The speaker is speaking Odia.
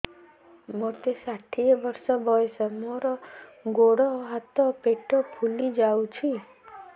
ମୋତେ ଷାଠିଏ ବର୍ଷ ବୟସ ମୋର ଗୋଡୋ ହାତ ପେଟ ଫୁଲି ଯାଉଛି